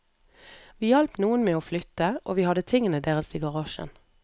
Vi hjalp noen med å flytte, og vi hadde tingene deres i garasjen.